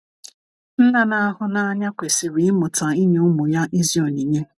nna n'ahu n'anya kwesiri imụta inye ụmụ ya ezi onyinye